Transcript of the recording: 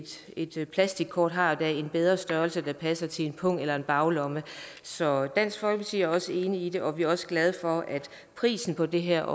et plastikkort har dog en bedre størrelse der passer til en pung eller baglomme så dansk folkeparti er også enig i det og vi er også glade for at prisen på det her